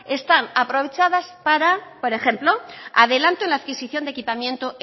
están aprovechadas para por ejemplo adelanto en la adquisición de equipamiento